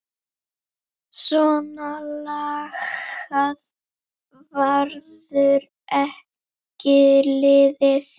Svona lagað verður ekki liðið.